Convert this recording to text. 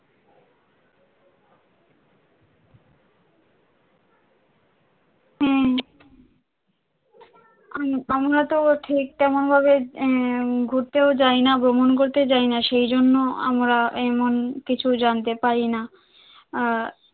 হ্যাঁ আম~আমরা তো ঠিক তেমন ভাবে আহ ঘুর তেউ যায় না, ভ্রমন করতেও যায় না সেজন্য আমরা এমন কিছু জানতে পারি না আহ